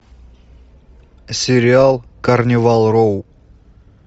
сериал карнивал роу